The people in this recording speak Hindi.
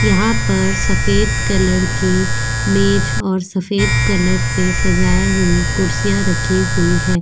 यहां पर सफेद कलर की मेज और सफेद कलर से सजाए हुई कुर्सियां रखी हुई है।